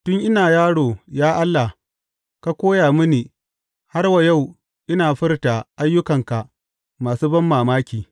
Tun ina yaro, ya Allah, ka koya mini har wa yau ina furta ayyukanka masu banmamaki.